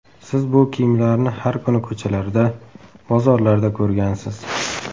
Siz bu kiyimlarni har kuni ko‘chalarda, bozorlarda ko‘rgansiz.